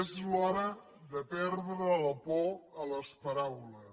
és l’hora de perdre la por a les paraules